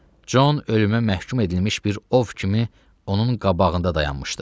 Con ölümə məhkum edilmiş bir ov kimi onun qabağında dayanmışdı.